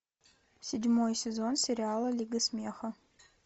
седьмой сезон сериала лига смеха